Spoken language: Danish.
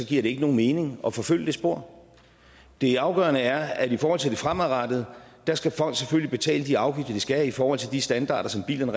giver det ikke nogen mening at forfølge det spor det afgørende er at i forhold til det fremadrettede skal folk selvfølgelig betale de afgifter de skal i forhold til de standarder som bilerne